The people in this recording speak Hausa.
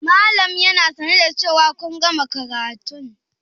Malam yana sane da cewa kun gama karatun?